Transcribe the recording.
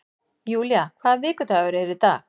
Julia, hvaða vikudagur er í dag?